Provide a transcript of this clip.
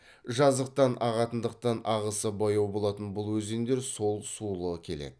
жазықтан ағатындықтан ағысы баяу болатын бұл өзендер сол сулы келеді